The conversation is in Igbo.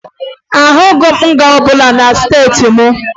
Ahụghị m nga ọbụla na steeti m